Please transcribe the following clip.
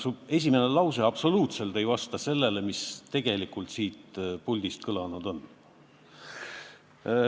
Su esimene lause absoluutselt ei vasta sellele, mis ma tegelikult siin puldis ütlesin.